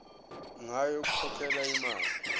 ngayo yokukhokhela imali